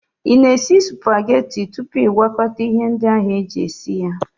Ị na-esi supageti tupu ị gwakọta ihe ndị ahụ eji esi ya?